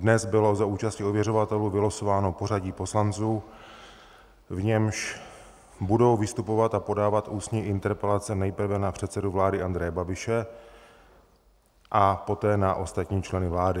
Dnes bylo za účasti ověřovatelů vylosováno pořadí poslanců, v němž budou vystupovat a podávat ústní interpelace nejprve na předsedu vlády Andreje Babiše a poté na ostatní členy vlády.